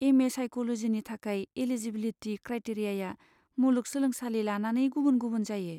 M A साइक'ल'जिनि थाखाय eligibility क्राइटेरियाआ मुलुग सोलोंसालि लानानै गुबुन गुबुन जायो।